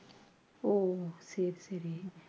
ஓ சரி சரி